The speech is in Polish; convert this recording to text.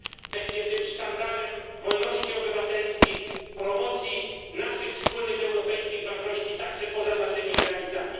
będzie zawsze sztandarem wolności obywatelskich, promocji naszych wspólnych europejskich wartości także poza naszymi granicami.